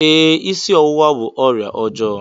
Ee, ịsị ọwụwa bụ ọrịa ọjọọ